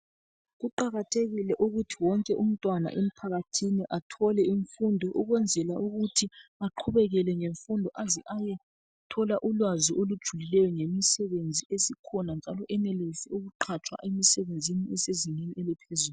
Kuqakathekile ukuthi wonke umntwana emphakathini athole imfundo ukwenzela ukuthi aqhubekele ngemfundo aze ayethola ulwazi olujulileyo ngemisebenzi esikhona njalo enelise ukuqhatshwa emisebenzini esezingeni eliphezulu.